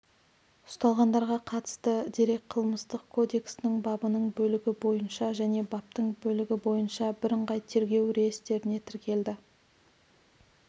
ұсталғандарға қатысты дерек қылмыстық кодексінің бабының бөлігі бойынша және баптың бөлігі бойынша бірыңғай тергеу реестріне тіркелді